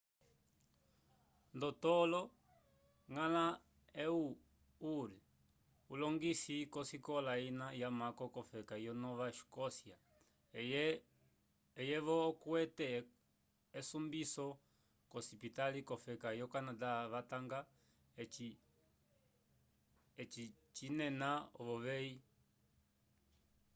ndotolo ngala ehud ur ulongisi kosikola ina yamako kofeka yo nova escoscya eye vo okwete esumbiso kocipitaly cofeka yo canada vatanga eci cinena ovovey